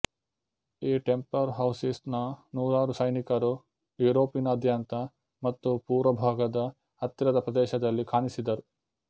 ಈ Templar houses ನ ನೂರಾರು ಸೈನಿಕರು ಯುರೊಪಿನಾದ್ಯಂತ ಮತ್ತು ಪೂರ್ವಭಾಗದ ಹತ್ತಿರದ ಪ್ರದೇಶದಲ್ಲಿ ಕಾಣಿಸಿದರು